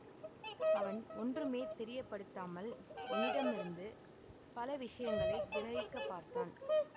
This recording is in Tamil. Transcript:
அவன் ஒன்றுமே தெரியப்படுத்தாமல் என்னிடமிருந்து பல விஷயங்களை கிரஹிக்கப் பார்த்தான்